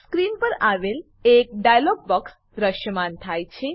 screen પર એક dialogue box દ્રશ્યમાન થાય છે